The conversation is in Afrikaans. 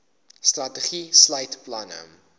strategie sluit planne